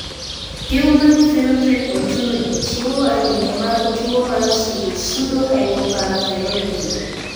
Human Phenotype Ontology chiwo andike mag tuo mar Pseudopseudohypoparathyroidism.